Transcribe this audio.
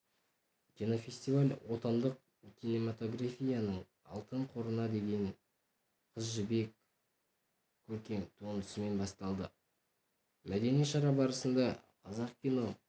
кинофестиваль отандық кинематографияның алтын қорына енген қыз жібек көркем туындысымен басталды мәдени шара барысында қазақ кино